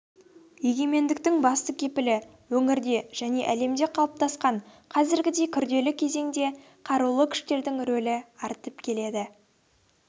егемендіктің басты кепілі өңірде және әлемде қалыптасқан қазіргідей күрделі кезеңде қарулы күштердің рөлі артып келеді